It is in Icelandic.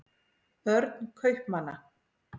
börn kaupmanna